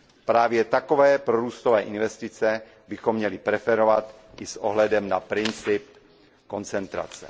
Právě takové prorůstové investice bychom měli preferovat i s ohledem na princip koncentrace.